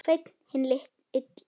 Sveinn hinn illi.